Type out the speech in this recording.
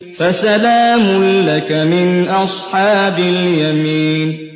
فَسَلَامٌ لَّكَ مِنْ أَصْحَابِ الْيَمِينِ